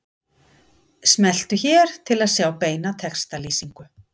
Smelltu hér til að sjá beina textalýsingu